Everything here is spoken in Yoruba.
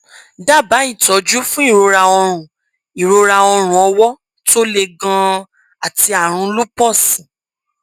dábàá ìtọjú fún ìrora ọrùn ìrora ọrùn ọwọ tó le ganan àti àrùn lúpọọsì